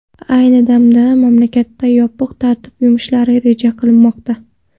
Ayni damda mamlakatda yopiq tartib yumshatilishi reja qilinmoqda.